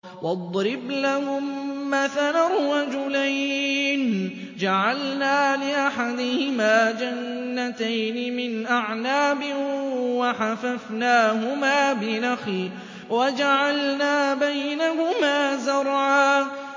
۞ وَاضْرِبْ لَهُم مَّثَلًا رَّجُلَيْنِ جَعَلْنَا لِأَحَدِهِمَا جَنَّتَيْنِ مِنْ أَعْنَابٍ وَحَفَفْنَاهُمَا بِنَخْلٍ وَجَعَلْنَا بَيْنَهُمَا زَرْعًا